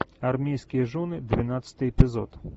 армейские жены двенадцатый эпизод